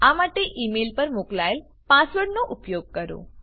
આ માટે email પર મોકલાયેલ પાસવર્ડનો ઉપયોગ કરો